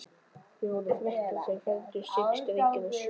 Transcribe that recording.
Við vorum þrettán sem fermdumst, sex drengir og sjö stúlkur.